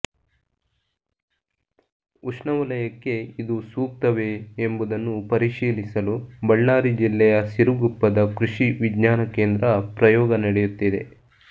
ಉಷ್ಣವಲಯಕ್ಕೆ ಇದು ಸೂಕ್ತವೇ ಎಂಬುದನ್ನು ಪರಿಶೀಲಿಸಲು ಬಳ್ಳಾರಿ ಜಿಲ್ಲೆಯ ಸಿರಗುಪ್ಪದ ಕೃಷಿ ವಿಜ್ಞಾನ ಕೇಂದ್ರ ಪ್ರಯೋಗ ನಡೆಯುತ್ತಿದೆ